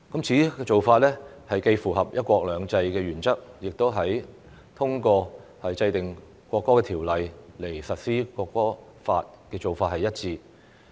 此做法既符合"一國兩制"原則，亦和通過制定《國歌條例》來實施《國歌法》的做法一致。